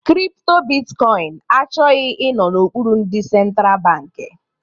Kripto bitkọin achọghị ịnọ n'okpuru ndị sentra bankị